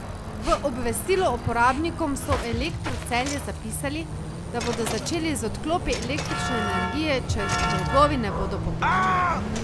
V obvestilu uporabnikom so v Elektru Celje zapisali, da bodo začeli z odklopi električne energije, če dolgovi ne bodo poplačani.